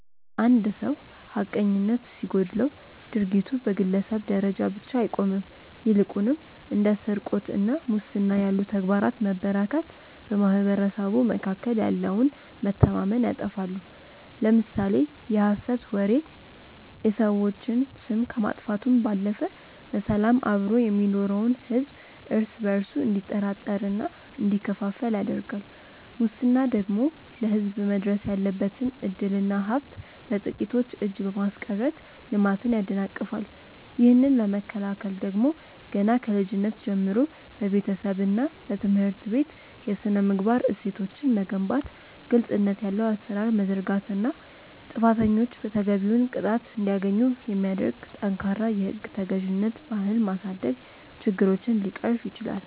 አንድ ሰው ሐቀኝነት ሲጎድለው ድርጊቱ በግለሰብ ደረጃ ብቻ አይቆምም ይልቁንም እንደ ስርቆትና ሙስና ያሉ ተግባራት መበራከት በማኅበረሰቡ መካከል ያለውን መተማመን ያጠፋሉ። ለምሳሌ የሐሰት ወሬ የሰዎችን ስም ከማጥፋቱም ባለፈ በሰላም አብሮ የሚኖረውን ሕዝብ እርስ በእርሱ እንዲጠራጠርና እንዲከፋፈል ያደርጋል ሙስና ደግሞ ለሕዝብ መድረስ ያለበትን ዕድልና ሀብት በጥቂቶች እጅ በማስቀረት ልማትን ያደናቅፋል። ይህንን ለመከላከል ደግሞ ገና ከልጅነት ጀምሮ በቤተሰብና በትምህርት ቤት የሥነ-ምግባር እሴቶችን መገንባት ግልጽነት ያለው አሠራር መዘርጋትና ጥፋተኞች ተገቢውን ቅጣት እንዲያገኙ የሚያደርግ ጠንካራ የሕግ ተገዥነት ባህል ማሳደግ ችግሮችን ሊቀርፍ ይችላል።